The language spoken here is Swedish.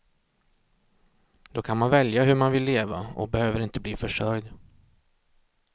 Då kan man välja hur man vill leva och behöver inte bli försörjd.